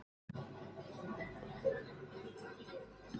Það er engu öðru líkt.